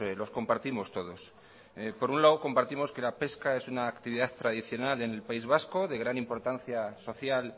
los compartimos todos por un lado compartimos que la pesca es una actividad tradicional en el país vasco de gran importancia social